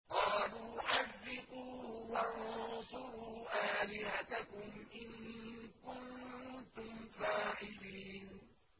قَالُوا حَرِّقُوهُ وَانصُرُوا آلِهَتَكُمْ إِن كُنتُمْ فَاعِلِينَ